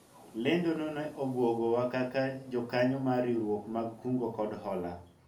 lendo no ne obwogo wa kaka jokanyo mar riwruok mag kungo kod hola